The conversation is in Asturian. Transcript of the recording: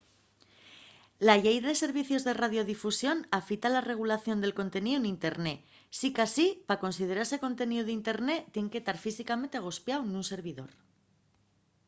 la llei de servicios de radiodifusión afita la regulación del conteníu n’internet sicasí pa considerase conteníu d’internet tien que tar físicamente agospiáu nun servidor